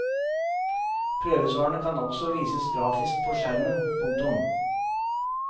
Prøvesvarene kan også vises grafisk på skjermen. punktum